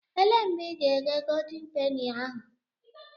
Elee mgbe ị ga-eghe goldin peni ahụ?